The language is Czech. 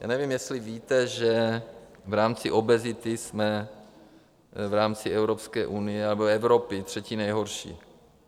Já nevím, jestli víte, že v rámci obezity jsme v rámci Evropské unie nebo Evropy třetí nejhorší.